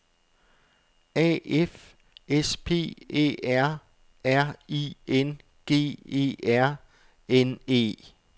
A F S P Æ R R I N G E R N E